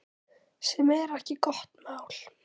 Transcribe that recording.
Sem er ekki gott mál.